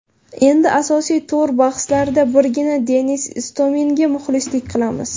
Endi asosiy to‘r bahslarida birgina Denis Istominga muxlislik qilamiz.